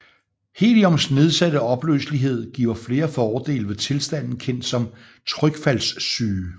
Heliums nedsatte opløselighed giver flere fordele ved tilstanden kendt som trykfaldssyge